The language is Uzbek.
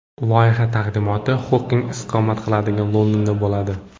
Loyiha taqdimoti Xoking istiqomat qiladigan Londonda bo‘ladi.